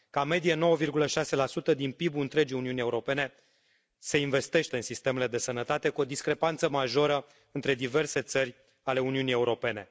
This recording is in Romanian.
Ca medie, 9,6 din PIB ul întregii Uniuni Europene se investește în sistemele de sănătate, cu o discrepanță majoră între diverse țări ale Uniunii Europene.